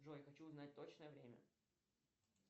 джой хочу узнать точное время